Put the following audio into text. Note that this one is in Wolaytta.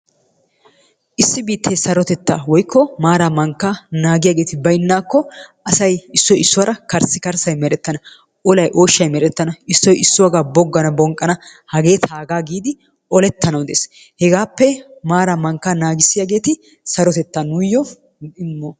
Issi bittee sarottetta woyko mara mankkaa nagiyagetti baynako assay issoy issuwara karsikarsay merettannna, ollay oshay merettanna issoy issuwagaa boganna bonqanna hage tagaa gidi olettanwu dees hegappe maraa mankka nagisiyagetti sarotettaa nuyo imossonnaa.